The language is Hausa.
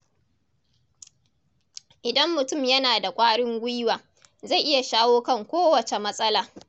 Idan mutum yana da ƙwarin gwiwa, zai iya shawo kan kowace matsala.